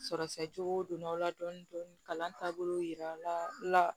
Sɔrɔsɛ juguw donn'aw la dɔɔni dɔɔni dɔɔni kalan taabolo jirala